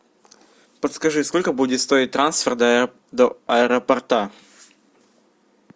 подскажи сколько будет стоить трансфер до аэропорта